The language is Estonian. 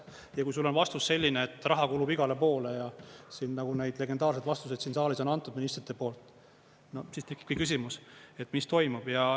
Ja kui sul on vastus selline, et raha kulub igale poole, nagu neid legendaarseid vastuseid siin saalis on antud ministrite poolt, siis tekibki küsimus, et mis toimub.